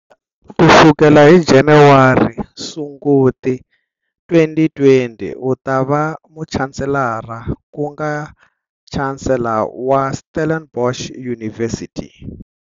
Ku sukela hi Januwari, Sunguti, 2020 u ta va Muchansselara ku nga Chancellor wa Stellenbosch University.